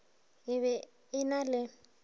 e be e na le